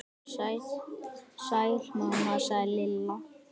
Sæl mamma sagði Lilla.